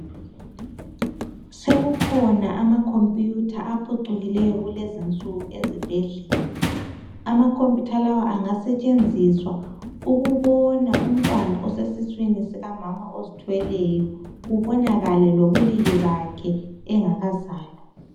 Sekukhona ama computer aphucukileyo kulezinsuku ezibhedlela. Ama computer lawa angasetshenziswa ukubona umntwana osesiswini sikamama ozithweleyo kubonakale lobulili bakhe engakazalwa.